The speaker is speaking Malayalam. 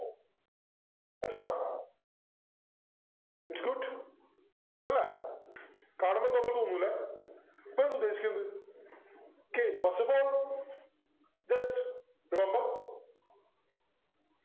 its good അല്ലെ കാണുമ്പോ ഒന്നും തോന്നൂല ഇതെന്താ ഉദ്ദേശിക്കുന്ന് okay First of all just remember